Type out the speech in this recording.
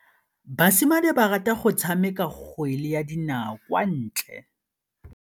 Basimane ba rata go tshameka kgwele ya dinaô kwa ntle.